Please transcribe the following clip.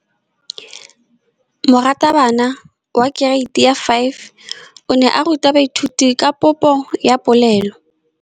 Moratabana wa kereiti ya 5 o ne a ruta baithuti ka popô ya polelô.